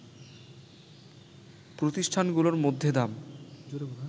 প্রতিষ্ঠানগুলোর মধ্যে দাম